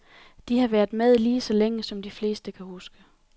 De har været med lige så længe, som de fleste kan huske.